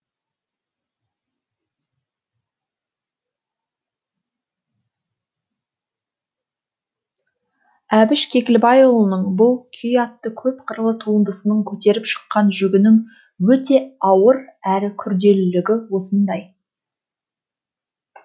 әбіш кекілбайұлының бұл күй атты көп қырлы туындысының көтеріп шыққан жүгінің өте ауыр әрі күрделілігі осындай